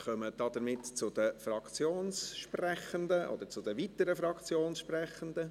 Damit kommen wir zu den weiteren Fraktionssprechenden.